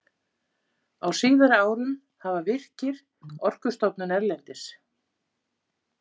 Á síðari árum hafa Virkir, Orkustofnun erlendis